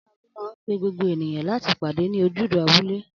Aláago man pe gbogbo ènìyàn láti pàdé ní ojúde abúlé